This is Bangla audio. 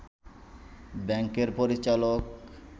ব্যাংকের পরিচালক